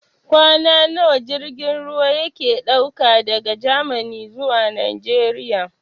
Kwana nawa jirgin ruwa yake ɗauka daga Gamani zuwa Najeriya?